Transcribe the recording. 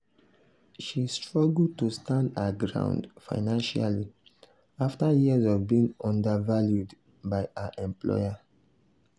she struggle to stand her ground financially afta years of being undervalued by her employer.